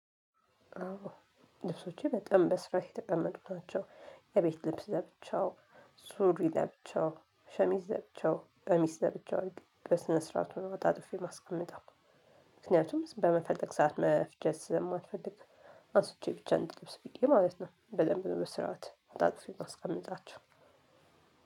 አዎ ልብሶቼ በጣም በስርዓት የተቀመጡት ናቸው። የቤት ልብስ ለብቻው ሱሪ ለብቻው ሸሚዝ ለብቻው ቀሚስ ለብቻው በስነ ስርዓቱ ነው አጣጥፌ ማስቀመጠው። ምክንያቱም በመፈለግ ሰዓት መፍጀት ስለማልፈልግ። አንስቼ ብቻ እንድለብስ ብቻ ብዬ ማለት ነው። በድንብ በስራአት አጣጥፌ ማስቀምጣ።